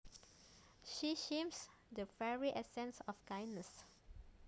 She seems the very essence of kindness